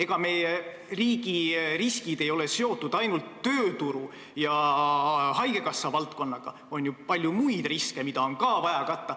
Ega meie riigi riskid ei ole seotud ainult tööturu ja haigekassa valdkonnaga – on ju palju muid riske, mida on ka vaja katta.